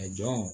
A jɔn